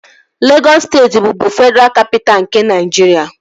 Legọs steeti bụbu Fedraa Kapitaa nke Naịjiria